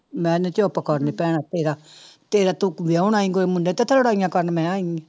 ਮੈਂ ਨੀ ਚੁੱਪ ਕਰ ਨੀ ਭੈਣੇ ਤੇਰਾ ਤੇਰਾ ਤੂੰ ਵਿਆਹੁਣ ਆਈ ਕੋਈ ਮੁੰਡਾ ਤੇ ਇੱਥੇ ਲੜਾਈਆਂ ਕਰਨ ਮੈਂ ਆਈ ਆਂ।